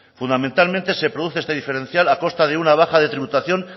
fundamentalmente se produce este diferencial a costa de una baja de tributación